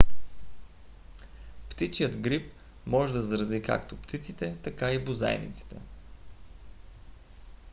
птичият грип може да зарази както птиците така и бозайниците